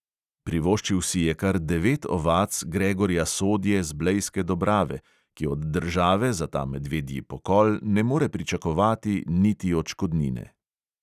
Privoščil si je kar devet ovac gregorja sodje z blejske dobrave, ki od države za ta medvedji pokol ne more pričakovati niti odškodnine.